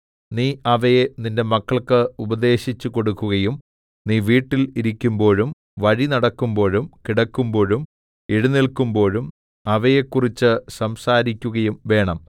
നീ അവയെ നിന്റെ മക്കൾക്ക് ഉപദേശിച്ചുകൊടുക്കുകയും നീ വീട്ടിൽ ഇരിക്കുമ്പോഴും വഴി നടക്കുമ്പോഴും കിടക്കുമ്പോഴും എഴുന്നേല്ക്കുമ്പോഴും അവയെക്കുറിച്ച് സംസാരിക്കുകയും വേണം